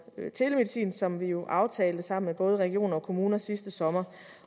telemedicin som vi jo aftalte sammen med både regioner og kommuner sidste sommer